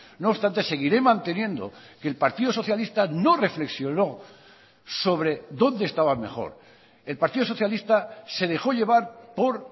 no obstante seguiré manteniendo que el partido socialista no reflexionó sobre dónde estaba mejor el partido socialista se dejo llevar por